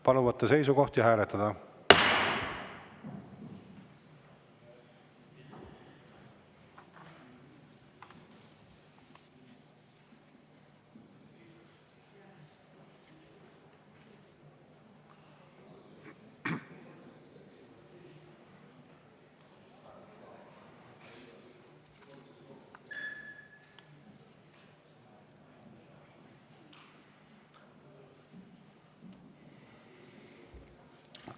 Palun võtta seisukoht ja hääletada!